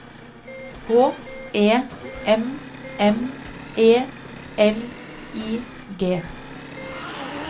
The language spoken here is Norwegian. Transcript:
H E M M E L I G